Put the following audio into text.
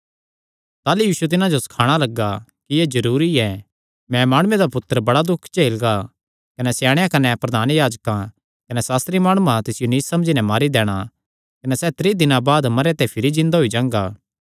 ताह़लू यीशु तिन्हां जो सखाणा लग्गा कि एह़ जरूरी ऐ मैं माणुये दा पुत्तर बड़ा दुख झेलगा कने स्याणेयां कने प्रधान याजकां कने सास्त्री माणुआं तिसियो नीच समझी नैं मारी दैणा कने सैह़ त्रीं दिनां बाद भिरी जिन्दा होई जांगा